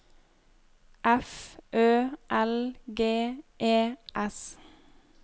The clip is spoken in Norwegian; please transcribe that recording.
F Ø L G E S